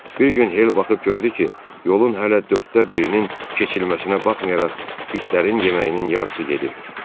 Bir gün Hel baxıb gördü ki, yolun hələ dörddə birinin keçilməsinə baxmayaraq, itlərin yeməyinin yarısı gedib.